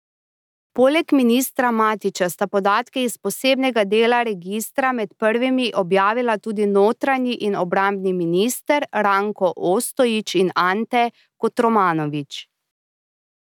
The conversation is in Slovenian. Poleg ministra Matića sta podatke iz posebnega dela registra med prvimi objavila tudi notranji in obrambni minister, Ranko Ostojić in Ante Kotromanović.